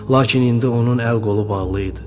Lakin indi onun əl-qolu bağlı idi.